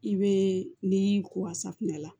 I bɛ ni ko ka safunɛ la